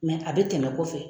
a be tɛmɛ kɔfɛ